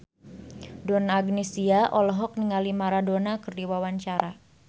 Donna Agnesia olohok ningali Maradona keur diwawancara